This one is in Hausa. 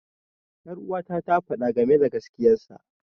Ƴaruwata ta faɗa game da gaskiyar sa.